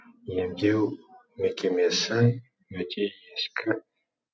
емдеу мекемесі өте ескі